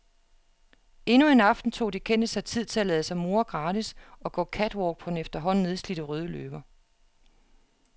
Endnu en aften tog de kendte sig tid at lade sig more gratis og gå catwalk på den efterhånden nedslidte røde løber.